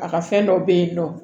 A ka fɛn dɔ be yen nɔ